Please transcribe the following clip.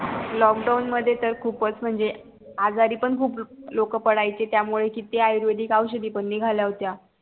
lockdown मध्ये तर खूप म्हणजे आजारी पण खूप लोक पडायची त्या मुले किती आयुर्वेदी औषधी पण निगल्या होत्या